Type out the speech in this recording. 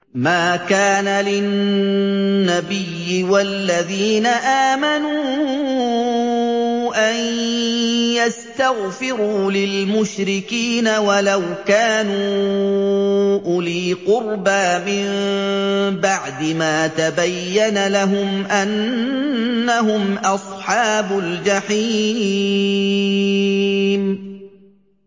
مَا كَانَ لِلنَّبِيِّ وَالَّذِينَ آمَنُوا أَن يَسْتَغْفِرُوا لِلْمُشْرِكِينَ وَلَوْ كَانُوا أُولِي قُرْبَىٰ مِن بَعْدِ مَا تَبَيَّنَ لَهُمْ أَنَّهُمْ أَصْحَابُ الْجَحِيمِ